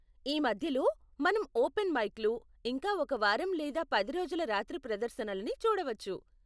ఈ మధ్యలో, మనం ఓపెన్ మైక్లు, ఇంకా ఒక వారం లేదా పది రోజుల రాత్రి ప్రదర్శనలని చూడవచ్చు.